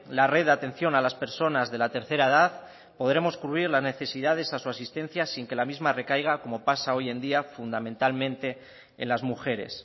la red de atención a las personas de la tercera edad podremos cubrir la necesidad de su asistencia sin que la misma recaiga como pasa hoy en día fundamentalmente en las mujeres